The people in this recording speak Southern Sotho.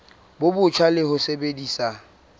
bo botjha le ho sebedisa